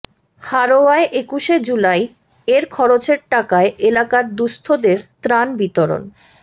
হাড়োয়ায় একুশে জুলাই এর খরচের টাকায় এলাকার দুস্থদের ত্রাণ বিতরণ